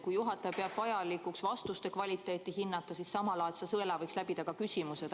Kui juhataja peab vajalikuks vastuste kvaliteeti hinnata, siis samalaadse sõela võiks läbida ka küsimused.